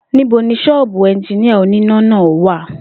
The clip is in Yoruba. Níbo ni s̩ó̩ò̩bù e̩njiníà oníná náà wà?